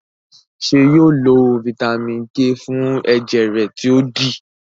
ṣe yóò lo Vitamin k fún ẹjẹ rẹ to dí?